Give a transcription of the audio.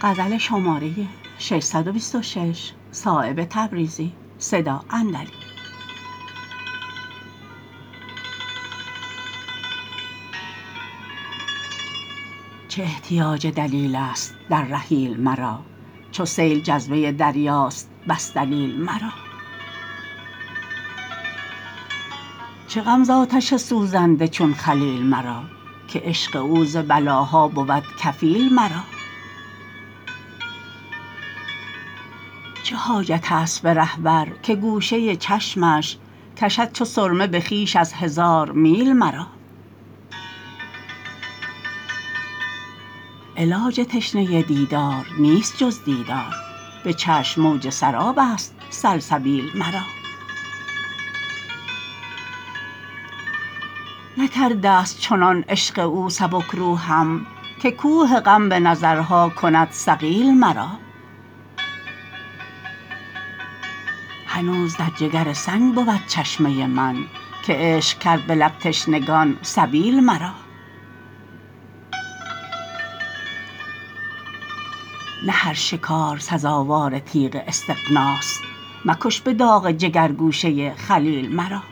چه احتیاج دلیل است در رحیل مرا چو سیل جذبه دریاست بس دلیل مرا چه غم ز آتش سوزنده چون خلیل مرا که عشق او ز بلاها بود کفیل مرا چه حاجت است به رهبر که گوشه چشمش کشد چو سرمه به خویش از هزار میل مرا علاج تشنه دیدار نیست جز دیدار به چشم موج سراب است سلسبیل مرا نکرده است چنان عشق او سبکروحم که کوه غم به نظرها کند ثقیل مرا هنوز در جگر سنگ بود چشمه من که عشق کرد به لب تشنگان سبیل مرا نه هر شکار سزاوار تیغ استغناست مکش به داغ جگر گوشه خلیل مرا